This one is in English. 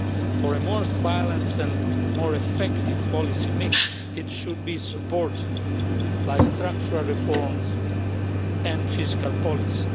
For a more balanced and more effective policy mix, it should be supported by structural reforms and fiscal policy.